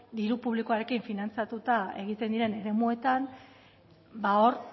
diru publikoarekin finantzatuta egiten diren eremuetan ba hor